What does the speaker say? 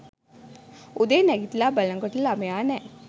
උදේ නැගිටල බලනකොට ළමයා නෑ